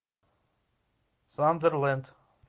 сандерленд